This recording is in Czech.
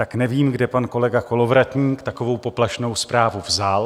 Tak nevím, kde pan kolega Kolovratník takovou poplašnou zprávu vzal.